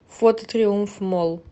фото триумф молл